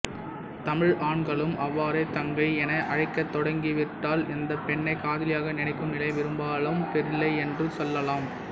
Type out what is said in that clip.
தமிழ் ஆண்களும் அவ்வாறே தங்கை என அழைக்கத்தொடங்கிவிட்டால் அந்த பெண்ணை காதலியாக நினைக்கும் நிலை பெரும்பாலும் இல்லை என்றே சொல்லலாம்